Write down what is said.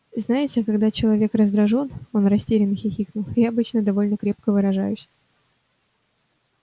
знаете когда человек раздражён он растерянно хихикнул я обычно довольно крепко выражаюсь